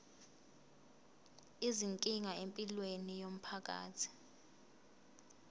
izinkinga empilweni yomphakathi